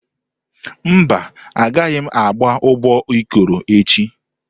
Mba, a gaghị agba ụbọ Ikoro echi.